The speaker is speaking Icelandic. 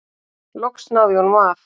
Loks náði ég honum af.